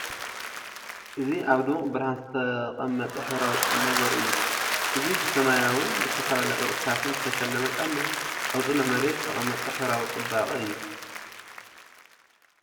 እዚ ኣብ ድሙቕ ብርሃን ዝተቐመጠ ሕብራዊ ጫማ ዘርኢ እዩ። እዚ ብሰማያውን ዝተፈላለየ ቅርጽታትን ዝተሰለመ ጫማ፡ ኣብ ጽኑዕ መሬት ዝተቐመጠ ሕብራዊ ጽባቐ እዩ።